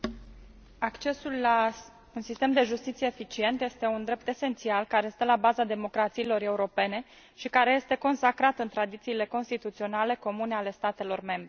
Mulțumesc. Accesul la un sistem de justiție eficient este un drept esențial, care stă la baza democrațiilor europene și care este consacrat în tradițiile constituționale comune ale statelor membre.